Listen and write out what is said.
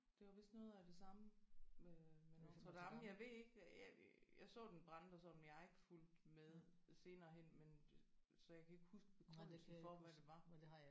Det var vist noget af det samme med øh med Notre Dame jeg ved ikke jeg jeg så den brænde og sådan men jeg har ikke fulgt med senere hen men så jeg kan ikke huske begrundelsen for hvad det var